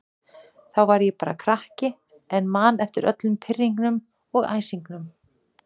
Þá var ég bara krakki en man eftir öllum pirringnum og æsingnum.